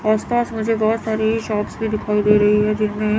आस पास मुझे बहुत सारी शॉप्स भी दिखाई दे रही है जिनमे --